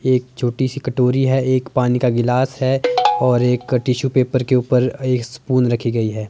एक छोटी सी कटोरी है एक पानी का गिलास है और एक का टिशू पेपर के ऊपर एक स्पून रखी गई है।